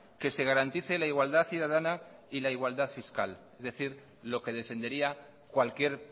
que se garantice la igualdad ciudadana y la igual fiscal es decir lo que defendería cualquier